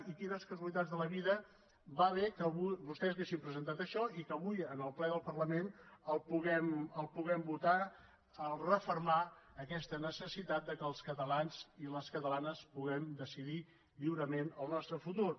i quines casualitats de la vida va bé que vostès haguessin presentat això i que avui en el ple del parlament puguem votar refermar aquesta necessitat que els catalans i les catalanes puguem decidir lliurement el nostre futur